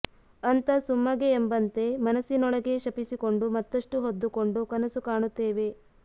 ಅಂತ ಸುಮ್ಮಗೆ ಎಂಬಂತೆ ಮನಸ್ಸಿನೊಳಗೆ ಶಪಿಸಿಕೊಂಡು ಮತ್ತಷ್ಟೂ ಹೊದ್ದುಕೊಂಡು ಕನಸು ಕಾಣುತ್ತೇವೆ